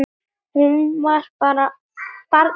Hún var barn sjálf.